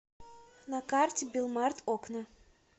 на карте билмарт окна